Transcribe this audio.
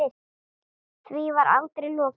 Því var aldrei lokið.